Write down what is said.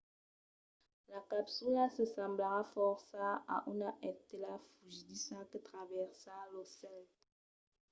la capsula se semblarà fòrça a una estela fugidissa que travèrsa lo cèl